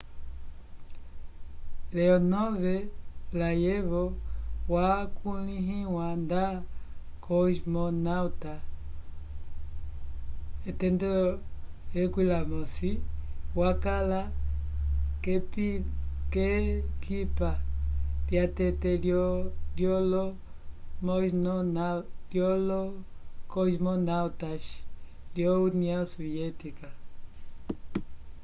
leonov layevo wakulĩhiwa nda cosmonauta nº 11” wakala k’ekipa lyatete lyolo cosmonautas vyo união soviética